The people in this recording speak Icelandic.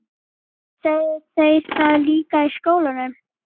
Sögðu þeir það líka í skólanum?